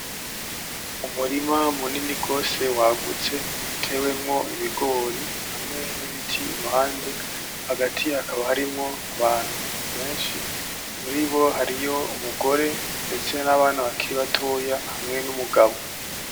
Umurima munini gose wagutse utewemwo ibigori hamwe n'ibiti iruhande hagati hakaba harimwo Abantu benshi muribo hariyo umugore ndetse n'abana bakiri batoya hamwe n'umugabo.